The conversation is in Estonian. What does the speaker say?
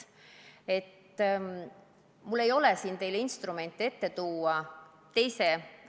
Mul ei ole siin teile instrumenti ette näidata.